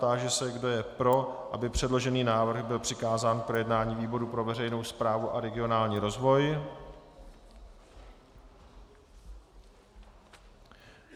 Táži se, kdo je pro, aby předložený návrh byl přikázán k projednání výboru pro veřejnou správu a regionální rozvoj.